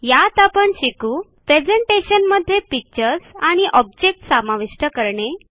यात आपण शिकू प्रेझेंटेशनमध्ये पिक्चर्स आणि ऑब्जेक्ट्स समाविष्ट करणे